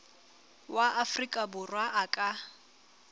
wa afrika borwa a ka